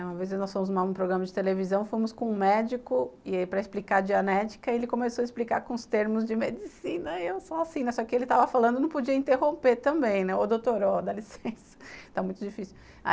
Uma vez nós fomos no programa de televisão, fomos com um médico e para explicar a diagnética ele começou a explicar com os termos de medicina e eu só assim, só que ele estava falando e não podia interromper também, ou doutor ou dá licença, está muito difícil.